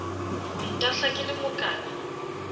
ho ntahla ke le mokana